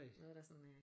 Noget der sådan øh